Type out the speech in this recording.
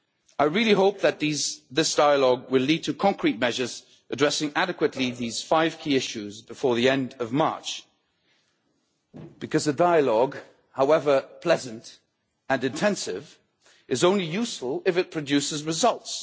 I really hope that this dialogue will lead to concrete measures which address adequately these five key issues before the end of March because the dialogue, however pleasant and intensive, is only useful if it produces results.